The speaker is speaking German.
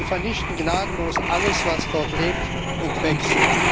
Sie vernichten gnadenlos alles, was dort lebt und wächst.